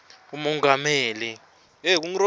lemongameli